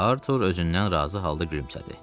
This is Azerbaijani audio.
Artur özündən razı halda gülümsədi.